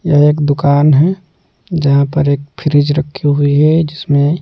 यह एक दुकान है जहां पर एक फ्रिज रखी हुई है जिसमें--